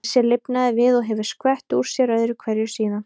Geysir lifnaði við og hefur skvett úr sér öðru hverju síðan.